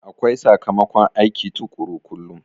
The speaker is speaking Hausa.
Akwai sakamakon aiki tukuru kullum